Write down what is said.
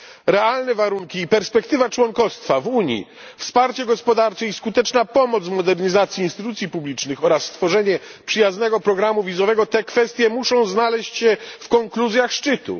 Realne warunki i perspektywa członkostwa w Unii, wsparcie gospodarcze i skuteczna pomoc w modernizacji instytucji publicznych oraz stworzenie przyjaznego programu wizowego te kwestie muszą znaleźć się w konkluzjach szczytu.